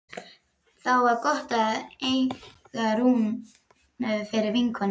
Þá var gott að eiga Rúnu fyrir vinkonu.